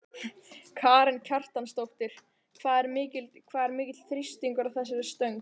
Karen Kjartansdóttir: Hvað er mikill þrýstingur á þessari stöng?